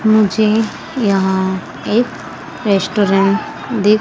मुझे यहां एक रेस्टोरेंट दिख।--